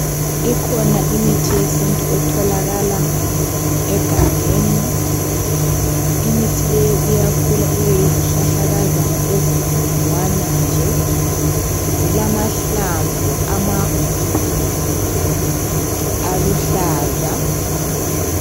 Ikhona imithi yesintu etholakala egangeni. Imithi leyo, iyakhula ibeyizihlahlakazana., ezinkudlwana nje. Zilamahlamvu amakhulu, aluhlaza.